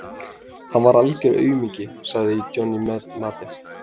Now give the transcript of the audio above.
Hann var algör aumingi, sagði Johnny Mate.